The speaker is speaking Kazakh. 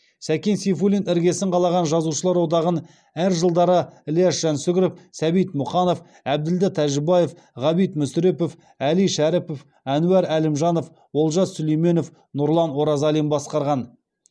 сәкен сейфуллин іргесін қалаған жазушылар одағын әр жылдары ілияс жансүгіров сәбит мұқанов әбділда тәжібаев ғабит мүсірепов әли шәріпов әнуар әлімжанов олжас сүлейменов нұрлан оразалин басқарған